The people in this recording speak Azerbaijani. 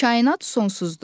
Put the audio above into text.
Kainat sonsuzdur.